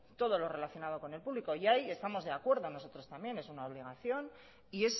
todo lo relacionado con lo público y ahí estamos de acuerdo nosotros también es una obligación y